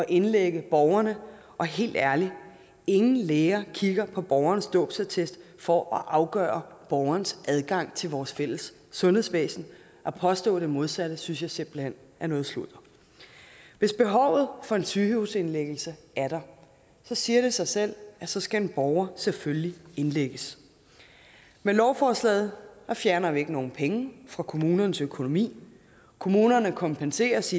indlægge borgerne og helt ærligt ingen læger kigger på borgerens dåbsattest for at afgøre borgerens adgang til vores fælles sundhedsvæsen at påstå det modsatte synes jeg simpelt hen er noget sludder hvis behovet for en sygehusindlæggelse er der siger det sig selv at så skal en borger selvfølgelig indlægges med lovforslaget fjerner vi ikke nogen penge fra kommunernes økonomi kommunerne kompenseres